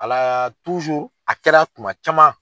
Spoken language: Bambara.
Ala a kɛra tuma caman.